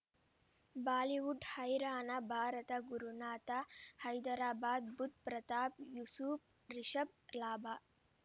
Bollywood ಹೈರಾಣ ಭಾರತ ಗುರುನಾಥ ಹೈದರಾಬಾದ್ ಬುಧ್ ಪ್ರತಾಪ್ ಯೂಸುಫ್ ರಿಷಬ್ ಲಾಭ